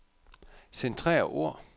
Centrer ord.